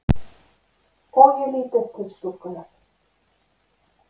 Og ég lít upp til stúlkunnar.